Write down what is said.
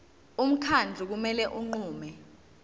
umkhandlu kumele unqume